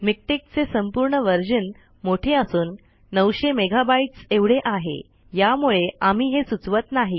MiKTeX चे संपूर्ण version मोठे असून 900 मेगा बाइट्स एवढे आहे यामुळे आम्ही हे सुचवत नाही